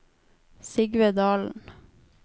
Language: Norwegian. Sigve Dahlen